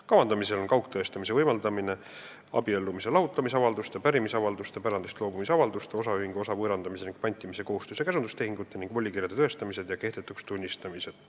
Kavandamisel on kaugtõestamise võimaldamine abiellumis- ja lahutamisavalduste, pärimisavalduste, pärandist loobumise avalduste, osaühingu osa võõrandamise ning pantimise kohustus- ja käsutustehingute ning volikirjade tõestamiste ja kehtetuks tunnistamiste puhul.